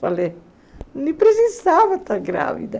Falei, nem precisava estar grávida.